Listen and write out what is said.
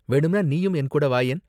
வேணும்னா நீயும் என் கூட வாயேன்.